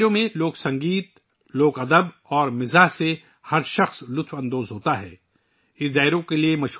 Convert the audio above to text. اس ڈائیرا میں لوک موسیقی، لوک ادب اور مزاح کی تثلیث ہر کسی کے ذہن کو مسرت سے بھر دیتی ہے